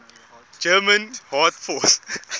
german air force